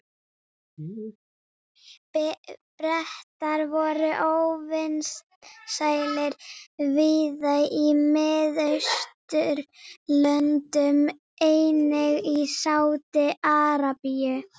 Bretar voru óvinsælir víða í Mið-Austurlöndum, einnig í Sádi-Arabíu.